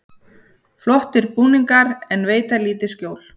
Flottir búningar en veita lítið skjól